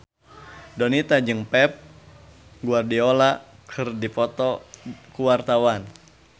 Donita jeung Pep Guardiola keur dipoto ku wartawan